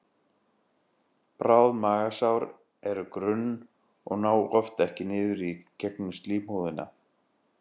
Bráð magasár eru grunn og ná oft ekki nema niður í gegnum slímhúðina.